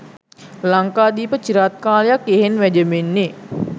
ලංකාදීප චිරාත් කාලයක් යෙහෙන් වැජඹෙන්නේ